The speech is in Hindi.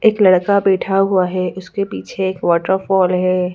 एक लड़का बैठा हुआ है उसके पीछे एक वाटरफॉल है।